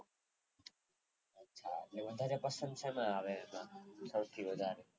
વધારે Custom સેમા આવે સૌથી વધારે